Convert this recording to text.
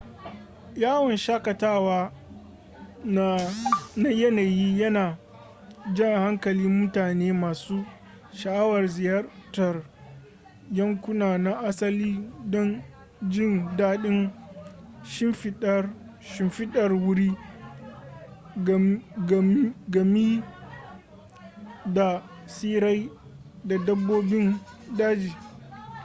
yawon shakatawa na yanayi yana jan hankalin mutane masu sha'awar ziyartar yankuna na asali don jin daɗin shimfidar wuri gami da tsirrai da dabbobin daji